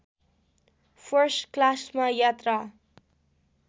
first क्लासमा यात्रा